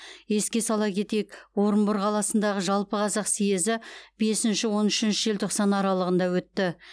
еске сала кетейік орынбор қаласындағы жалпықазақ съезі бесінші он үшінші желтоқсан аралығында өтті